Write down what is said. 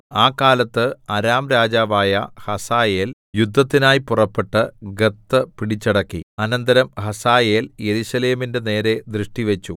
ആ കാലത്ത് അരാം രാജാവായ ഹസായേൽ യുദ്ധത്തിനായി പുറപ്പെട്ട് ഗത്ത് പിടിച്ചടക്കി അനന്തരം ഹസായേൽ യെരൂശലേമിന്റെ നേരേ ദൃഷ്ടി വെച്ചു